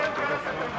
Qabağa, qabağa.